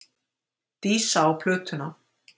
Dísa á plötuna.